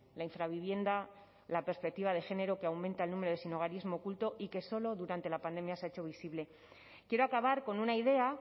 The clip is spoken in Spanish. la infravivienda la perspectiva de género que aumenta el número de sinhogarismo oculto y que solo durante la pandemia se ha hecho visible quiero acabar con una idea